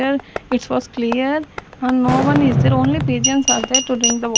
It was clear a no one is there only pigeons are there to drink the --